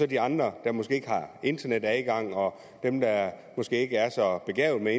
de andre der måske ikke har internetadgang og dem der måske ikke er så begavede